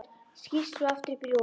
Skýst svo aftur upp í rúm.